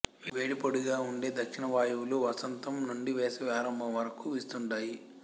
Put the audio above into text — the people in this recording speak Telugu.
వేడి పొడిగా ఉండే దక్షిణ వాయువులు వసతం నుండి వేసవి ఆరంభం వరకు వీస్తుంటాయి